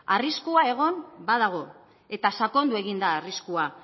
arriskua egon badago eta sakondu egin da arriskua